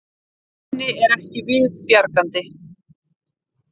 Henni er við bjargandi.